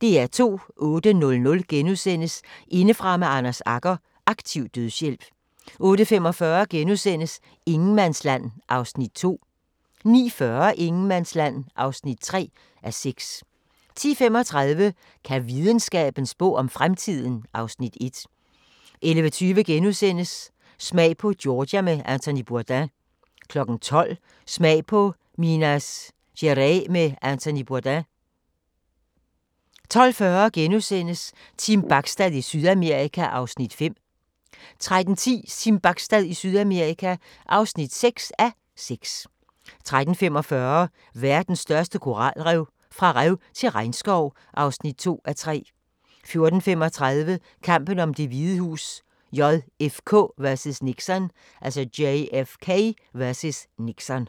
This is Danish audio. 08:00: Indefra med Anders Agger – Aktiv dødshjælp * 08:45: Ingenmandsland (2:6)* 09:40: Ingenmandsland (3:6) 10:35: Kan videnskaben spå om fremtiden? (Afs. 1) 11:20: Smag på Georgia med Anthony Bourdain * 12:00: Smag på Minas Gerais med Anthony Bourdain 12:40: Team Bachstad i Sydamerika (5:6)* 13:10: Team Bachstad i Sydamerika (6:6) 13:45: Verdens største koralrev – fra rev til regnskov (2:3) 14:35: Kampen om Det Hvide Hus: JFK vs. Nixon